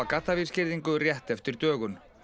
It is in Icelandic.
gaddavírsgirðingu rétt eftir dögun